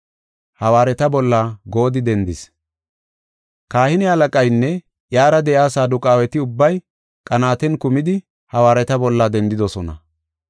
Kahine halaqaynne iyara de7iya Saduqaaweti ubbay qanaaten kumidi hawaareta bolla dendidosona.